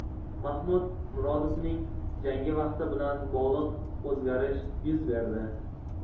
Mahmud Murodovning jangi vaqti bilan bog‘liq o‘zgarish yuz berdi.